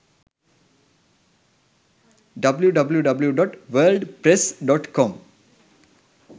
www.wordpress.com